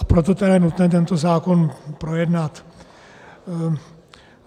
A proto je tedy nutné tento zákon projednat.